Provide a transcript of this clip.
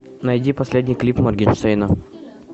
найди последний клип моргенштерна